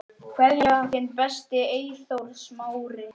Kveðja, þinn besti, Eyþór Smári.